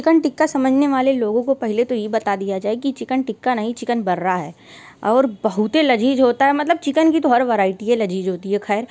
chicken tikka समझने वाले लोगो को पहले तो ये बता दिया जाये कि चिकन टिक्का नहीं चिकन बर्रा है और बहुते लज़ीज़ होता है मतलब चिकन की तो हर वैरायटी ही लज़ीज़ होती है खैर --